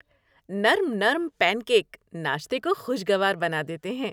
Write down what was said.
نرم نرم pancake ناشتے کو خوشگوار بنا دیتے ہیں۔